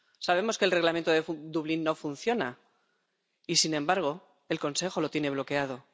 Sabemos que el Reglamento de Dublín no funciona y, sin embargo, el Consejo lo tiene bloqueado.